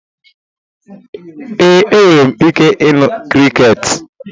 Ee, enwere m ike ịnụ crickets.